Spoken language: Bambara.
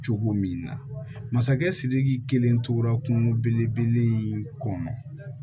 Cogo min na masakɛ sidiki kelen tora kungo belebele in kɔnɔ